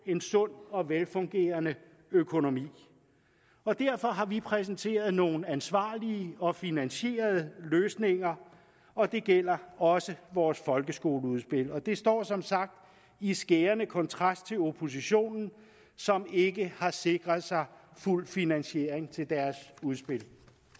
en sund og velfungerende økonomi og derfor har vi præsenteret nogle ansvarlige og finansierede løsninger og det gælder også vores folkeskoleudspil det står som sagt i skærende kontrast til oppositionen som ikke har sikret sig fuld finansiering til deres udspil